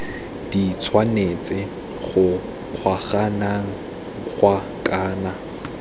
di tshwanetse go kgaoganngwa kana